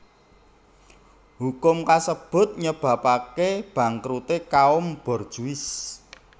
Hukum kasebut nyebabapké bangkruté kaum borjuis